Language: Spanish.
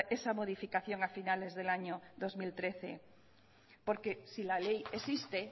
esa modificación a finales del año dos mil trece porque si la ley existe